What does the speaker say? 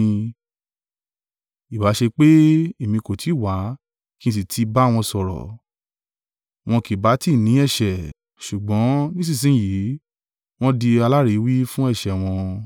Ìbá ṣe pé èmi kò ti wá kí n sì ti bá wọn sọ̀rọ̀, wọn kì bá tí ní ẹ̀ṣẹ̀, ṣùgbọ́n nísinsin yìí wọ́n di aláìríwí fún ẹ̀ṣẹ̀ wọn.